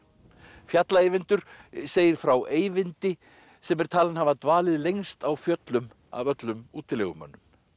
fjalla Eyvindur segir frá Eyvindi sem er talinn hafa dvalið lengst á fjöllum af öllum útilegumönnum